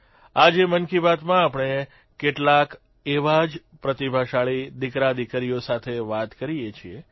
આજે મન કી બાતમાં આપણે કેટલાક એવા જ પ્રતિભાશાળી દિકરાદીકરીઓ સાથે વાત કરીએ છીએ